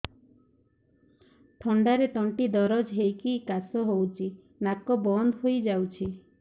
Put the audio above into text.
ଥଣ୍ଡାରେ ତଣ୍ଟି ଦରଜ ହେଇକି କାଶ ହଉଚି ନାକ ବନ୍ଦ ହୋଇଯାଉଛି